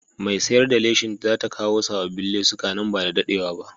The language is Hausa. Mai sayar da leshin za ta kawo sabbin lesuka nan ba da daɗewa ba.